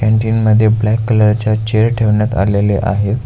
Canteen मध्ये black colour च्या chair ठेवण्यात आलेले आहेत.